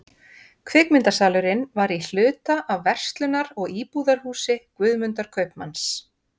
Kvikmyndasalurinn var í hluta af verslunar- og íbúðarhúsi Guðmundar kaupmanns.